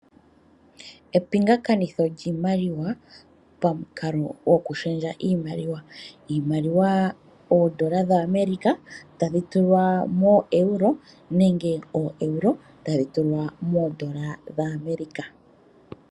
Epingakanitho lyiimaliwa pamukalo gwokushendja iimaliwa. Iimaliwa oondola dhaAmerika tadhi tulwa moo Euro, nenge oo Euro tadhi tulwa moondola dhaAmerika.